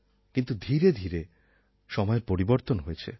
কিন্তু ধীরে ধীরে সময়ের পরিবর্তন হয়েছে